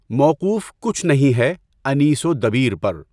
موقوف کچھ نہیں ہے انیسؔ و دبیرؔ پر